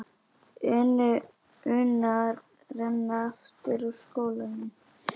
una renna aftur úr skónum.